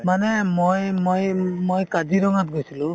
মানে মই~ মই~ মই কাজিৰঙাত গৈছিলো